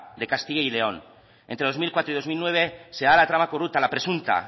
de castilla y león entre dos mil cuatro y dos mil nueve se da la trama corrupta la presunta